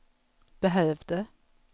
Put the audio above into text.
behövde